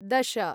दश